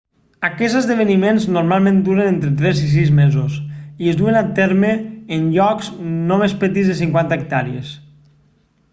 aquests esdeveniments normalment duren entre tres i sis mesos i es duen a terme en llocs no més petits de 50 hectàrees